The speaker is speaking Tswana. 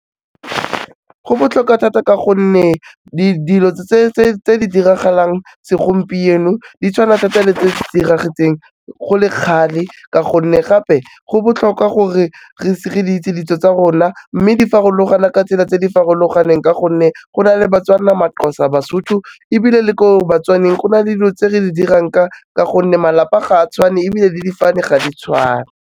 Go botlhokwa thata ka gonne dilo tse di diragalang segompieno di tshwana thata le tse diragetseng go le kgale ka gonne gape go botlhokwa gore re di itse ditso tsa rona mme di farologana ka tsela tse di farologaneng ka gonne go na le Batswana, MaXhosa, Basotho, ebile le ko Batswaneng go na le dilo tse re di dirang ka gonne malapa ga a tshwane ebile le difane ga di tshwane.